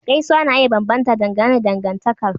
Gaisuwa na iya bambanta dangane da dangantakar.